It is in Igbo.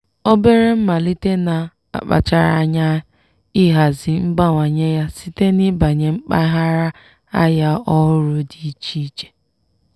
obere mmalite na-akpachara anya ihazi mbawanye ya site n'ibanye mpaghara ahịa ọhụrụ dị iche iche.